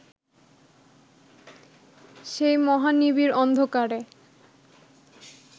সেই মহা নিবিড় অন্ধকারে